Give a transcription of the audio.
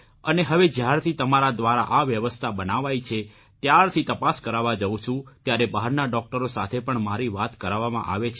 અને હવે જયારથી તમારા દ્વારા આ વ્યવસ્થા બનાવાઇ છે ત્યારથી તપાસ કરાવવા જઉં છું ત્યારે બહારના ડોકટરો સાથે પણ મારી વાત કરાવવામાં આવે છે